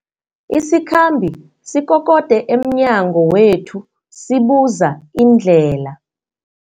Isikhambi sikokode emnyango wethu sibuza indlela.